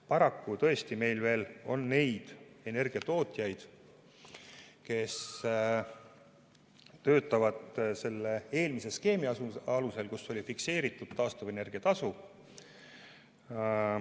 Paraku, tõesti, meil on veel neid energiatootjaid, kes töötavad eelmise skeemi alusel, kus oli fikseeritud taastuvenergia tasu.